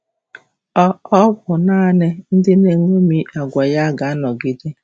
Ọ Ọ bụ nanị ndị na-eṅomi àgwà ya ga-anọgide.